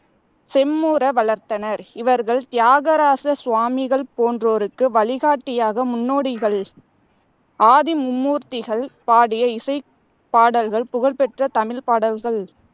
செம்முற வளர்த்தனர். இவர்கள் தியாகராச சுவாமிகள் போன்றோருக்கு வழிகாட்டியாக முன்னோடிகள். ஆதி மும்மூர்த்திகள் பாடிய இசைப்பாடல்கள் புகழ்பெற்ற தமிழ்ப்பாடல்கள்